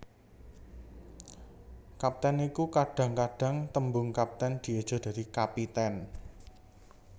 Kapten iku Kadhang kadhang tembung kaptèn dieja dadi kapitèn